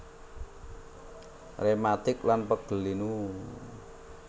Rematik lan pegel linu